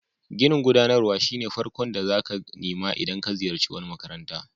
Ginin gudanarwa shine farkon ginin da zaka nima idan ka ziyace wani makaranta.